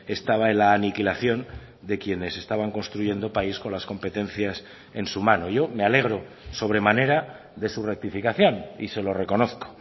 estaba en la aniquilación de quienes estaban construyendo país con las competencias en su mano yo me alegro sobremanera de su rectificación y se lo reconozco